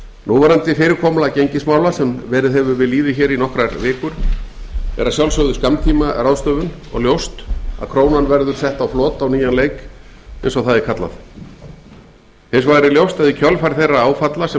núverandi fyrirkomulag gengismála sem verið hefur við lýði hér í nokkrar vikur er að sjálfsögðu skammtímaráðstöfun og ljóst að krónan verður sett á flot á nýjan leik eins og það er kallað hins vegar er ljóst að í kjölfar þeirra áfalla sem